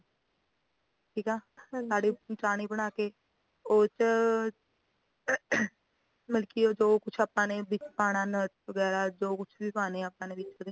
ਠੀਕ ਆ ਹਾਂਜੀ ਚਾਨੀ ਬਣਾ ਕੇ ਉਸ ਚ ਮਲਕੀ ਜੋ ਕੁਜ ਆਪਾ ਨੇ ਵਿੱਚ ਪਾਣਾ nuts ਵਗੈਰਾ ਜੋ ਕੁਜ ਵੀ ਪਾਣਾ ਆਪਾ ਨੇ ਵਿਚ